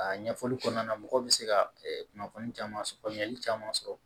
A ɲɛfɔli kɔnɔna na mɔgɔ bɛ se ka kunnafoni caman sɔrɔ faamuyali caman sɔrɔ